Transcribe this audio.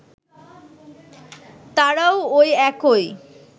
তারাও ওই একই